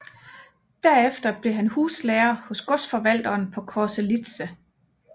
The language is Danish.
Derefter blev han huslærer hos godsforvalteren på Korselitse